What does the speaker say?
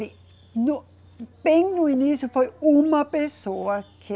No, bem no início foi uma pessoa que